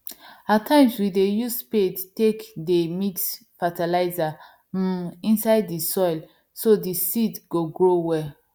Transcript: at times we dey use spade take dey mix fertilizer um inside the soil so the seed go grow well